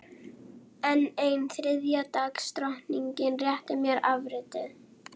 Fallbaráttunni lokið?